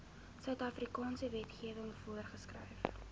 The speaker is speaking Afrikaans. suidafrikaanse wetgewing voorgeskryf